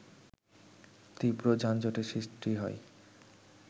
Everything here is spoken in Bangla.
তীব্র যানজটের সৃষ্টি হয়